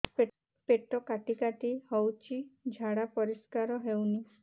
ପେଟ କାଟି କାଟି ହଉଚି ଝାଡା ପରିସ୍କାର ହଉନି